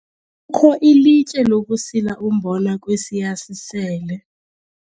kho ilitye lokusila umbona kwesiya sisele.